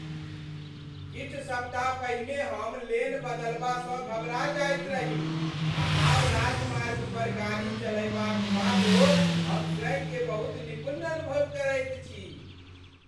किछु सप्ताह पहिने हम लेन बदलबासँ घबरा जाइत रही आ आब राजमार्ग पर गाड़ी चलयबाक बादो हम स्वयंकेँ बहुत निपुण अनुभव करैत छी!